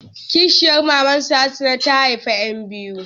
Kishiyar maman su Hassan ta haifa ƴan biyu.